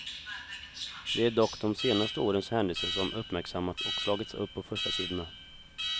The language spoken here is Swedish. Det är dock de senaste årens händelser som uppmärksammats och slagits upp på förstasidorna.